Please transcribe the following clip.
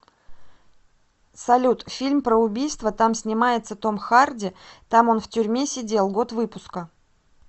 салют фильм про убийства там снимается том харди там он в тюрьме сидел год выпуска